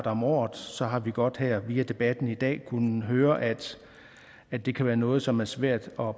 om året så har vi godt her via debatten i dag kunnet høre at at det kan være noget som er svært bare